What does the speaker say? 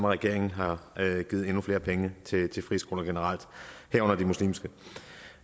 regeringen har givet endnu flere penge til friskoler generelt herunder de muslimske